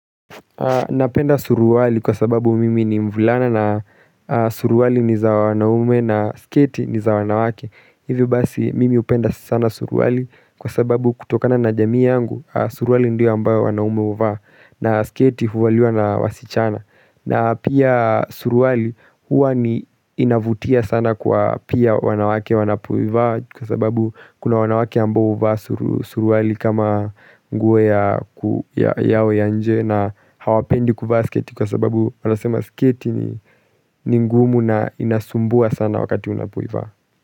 Napenda suruali kwa sababu mimi ni mvulana na suruali ni za wanaume na sketi ni za wanawake Hivyo basi mimi hupenda sana suruali kwa sababu kutokana na jamii yangu suruali ndio ambayo wanaume huvaa na sketi huvaliwa na wasichana na pia suruali huwa ni inavutia sana kwa pia wanawake wanapoivaa Kwa sababu kuna wanawake ambao huvaa suruali kama nguo ya yawe ya nje na hawapendi kuvaa sketi Kwa sababu wanasema sketi ni ngumu na inasumbua sana wakati unapoivaa.